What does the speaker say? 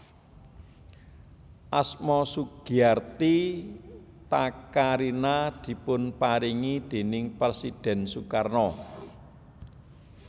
Asma Sugiarti Takarina dipun paringi déning Presidhèn Sukarno